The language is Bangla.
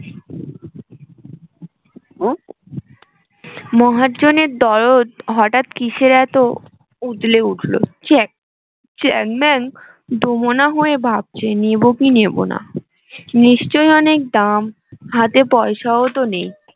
মহাজনের দরদ হঠাৎ কিসের এত উদলে উঠলো চ্যাংম্যান দুমনা হয়ে ভাবছে নেবো কি নেবো না নিশ্চয় অনেক দাম হাতে পয়সাও তো নেই